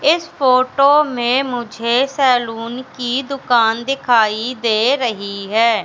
इस फोटो में मुझे सैलुन की दुकान दिखाई दे रही हैं।